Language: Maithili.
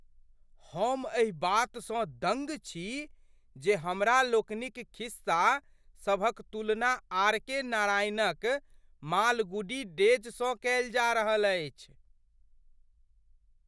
हम एहि बातसँ दङ्ग छी जे हमरा लोकनिक खिस्सा सभक तुलना आर.के. नारायणक मालगुडी डेजसँ कएल जा रहल अछि!